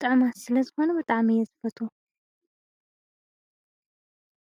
ጥዑማት ስለዝኮኑ ብጣዕሚ እየ ዝፈትዎም።